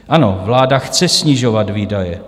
Ano, vláda chce snižovat výdaje.